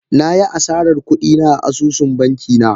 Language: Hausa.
Na yi asarar kudi na a asusun banki na